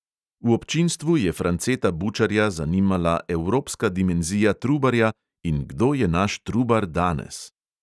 V občinstvu je franceta bučarja zanimala evropska dimenzija trubarja in kdo je naš trubar danes.